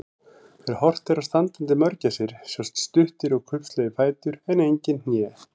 Þegar horft er á standandi mörgæsir sjást stuttir og kubbslegir fætur en engin hné.